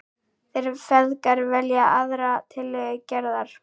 Þeir feðgar velja aðra tillögu Gerðar.